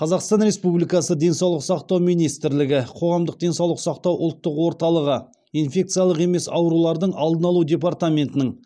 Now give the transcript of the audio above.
қазақстан републикасы денсаулық сақтау министрлігі қоғамдық денсаулық сақтау ұлттық орталығы инфекциялық емес аурулардың алдын алу департаментінің